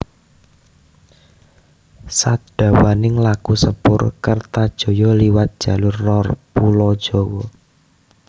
Sadawaning laku sepur Kertajaya liwat jalur lor pulo Jawa